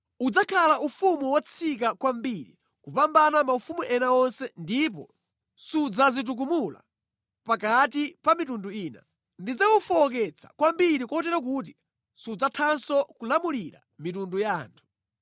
Udzakhala ufumu wotsika kwambiri kupambana maufumu ena onse ndipo sudzadzitukumula pakati pa mitundu ina. Ndidzawufowoketsa kwambiri kotero kuti sudzathanso kulamulira mitundu ya anthu.